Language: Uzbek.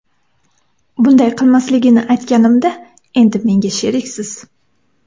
Bunday qilmasligini aytganimda endi menga sheriksiz.